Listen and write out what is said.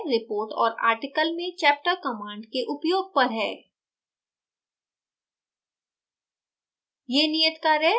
यह नियत कार्य report और article में chapter command के उपयोग पर है